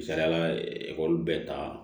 Misaliyala ekɔli bɛ ta